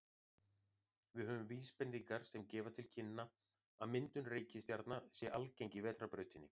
Við höfum vísbendingar sem gefa til kynna að myndun reikistjarna sé algeng í Vetrarbrautinni.